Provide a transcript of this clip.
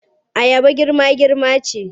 Ayaba girma-girma ce.